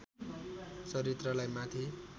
चरित्रलाई माथि